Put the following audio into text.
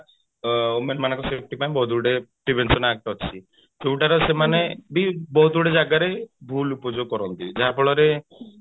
ବା women ମାନଙ୍କ safety ପାଇଁ ବହୁତ ଗୁଡିଏ prevention add କରିଛି ଯୋଉଟା ର ସେମାନେ ବି ବହୁତ ଗୁଡେ ଜାଗାରେ ଭୁଲ ଉପଯୋଗ କରନ୍ତି ଯାହା ଫଳରେ